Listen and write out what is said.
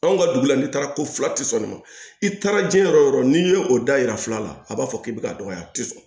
Anw ka dugu la n'i taara ko fila tɛ sɔn nin ma i taara diɲɛ yɔrɔ yɔrɔ o yɔrɔ n'i ye o da yira fila la a b'a fɔ k'i bɛ ka dɔgɔya a tɛ sɔn